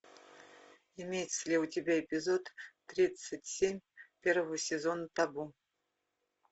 имеется ли у тебя эпизод тридцать семь первого сезона табу